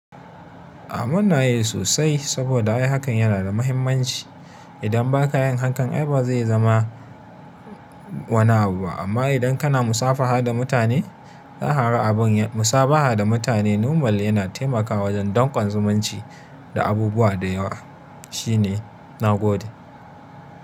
Ah muna yi sosai saboda ai hakan yana da mahimmanci idan ba ka yin hakan, ai ba zai zama wani abu ba. Amma idan kana musafaha da mutane, za ka ga abin musabaha da mutane nomal yana taimakawa wajen danƙon zumunci da abubuwa da yawa. Shi ne na gode.